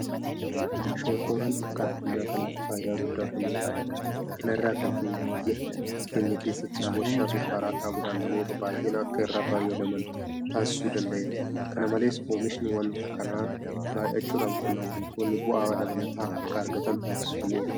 Shonkooraan akka addunyaa kanaatti faayidaa guddaa kennuudhaan beekama. Kana irraa kan ka'e biyya keenya keessattis warshaa sukkaaraa dhaabuudhaan namoota baay'een akka irraa fayyadaman taasisuu danda'eera. Kana malees oomishni waanta kanaa baay'achuudhaan qonnaan bultoonni bu'aa dabalataa akka argatan taasifameera.